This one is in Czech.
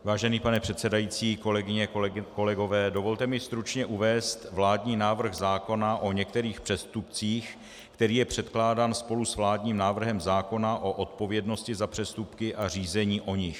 Vážený pane předsedající, kolegyně, kolegové, dovolte mi stručně uvést vládní návrh zákona o některých přestupcích, který je předkládán spolu s vládním návrhem zákona o odpovědnosti za přestupky a řízení o nich.